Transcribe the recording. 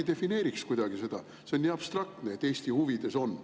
Äkki defineeriks seda kuidagi, see on nii abstraktne, et "Eesti huvides on".